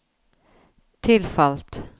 tilfalt